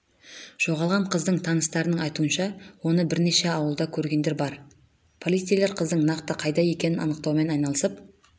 жоғалған қыздың таныстарының айтуынша оны бірнеше ауылда көргендер бар полицейлер қыздың нақты қайда екенін анықтаумен айналысып